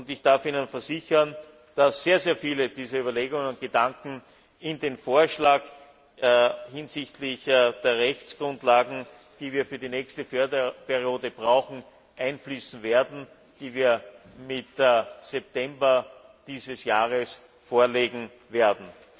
Ich darf Ihnen versichern, dass sehr viele dieser Überlegungen und Gedanken in den Vorschlag hinsichtlich der Rechtsgrundlagen, die wir für die nächste Förderperiode brauchen, einfließen werden, die wir mit September dieses Jahres vorlegen werden.